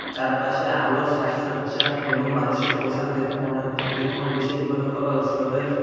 চারপাশে আলোর সাজ সজ্জা এবং মানুষের পোশাক দেখে মনে হচ্ছে এটি কোন বিশেষ উপলক্ষ বা উৎসবের --